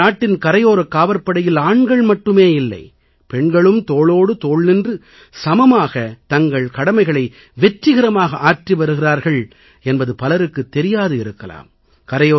நமது நாட்டின் கடலோரக்யோரக் காவற்படையில் ஆண்கள் மட்டுமே இல்லை பெண்களும் தோளோடு தோள் நின்று சமமாகத் தங்கள் கடமைகளை வெற்றிகரமாக ஆற்றி வருகிறார்கள் என்பது பலருக்குத் தெரியாது இருக்கலாம்